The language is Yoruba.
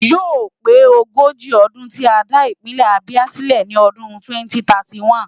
Yóò pé ogójì ọdún tí a dá Ìpínlẹ̀ Abia sílẹ̀ ní ọdún 2031.